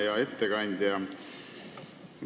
Hea ettekandja!